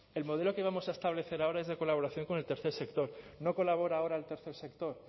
el modelo que vamos a establecer ahora es de colaboración con el tercer sector no colabora ahora el tercer sector